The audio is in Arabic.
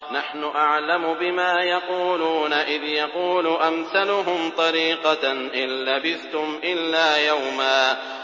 نَّحْنُ أَعْلَمُ بِمَا يَقُولُونَ إِذْ يَقُولُ أَمْثَلُهُمْ طَرِيقَةً إِن لَّبِثْتُمْ إِلَّا يَوْمًا